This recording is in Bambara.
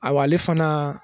A ale fana